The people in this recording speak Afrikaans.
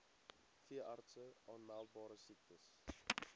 veeartse aanmeldbare siektes